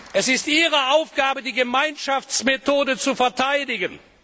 Es ist Ihre Aufgabe, die Gemeinschaftsmethode zu verteidigen.